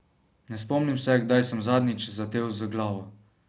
Ne spomnim se, kdaj sem zadnjič zadel z glavo.